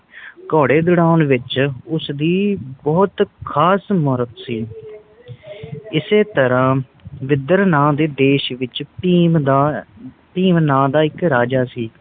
ਘੋੜੇ ਦੋਰਾਉਂਣ ਵਿਚ ਉਸ ਦੀ ਬੋਹੋਤ ਖਾਸ ਮਹਾਰਤ ਸੀ ਇਸੇ ਤਰ੍ਹਾਂ ਵਿਦਰ ਨਾ ਦੇ ਦੇਸ਼ ਵਿਚ ਭੀਮ ਦਾ ਭੀਮ ਨਾ ਦਾ ਇਕ ਰਾਜਾ ਸੀ